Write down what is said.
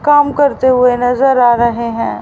काम करते हुए नजर आ रहे है।